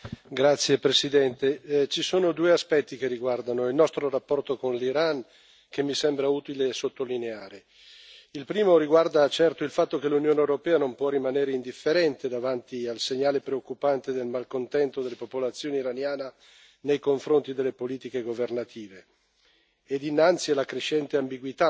Signora Presidente, onorevoli colleghi, ci sono due aspetti che riguardano il nostro rapporto con l'Iran che mi sembra utile sottolineare. Il primo riguarda certamente il fatto che l'Unione europea non può rimanere indifferente davanti al segnale preoccupante del malcontento della popolazione iraniana nei confronti delle politiche governative